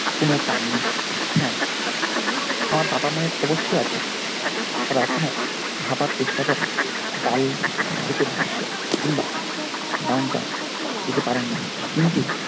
কোন দাম নেই হ্যাঁ আমার বাবা মায়ের অবশ্যই আছে তারা এখনো ভাবার চেষ্টা করে ডাল lake এর দৃশ্য কিংবা downtown যেতে পারেন না কিন্তু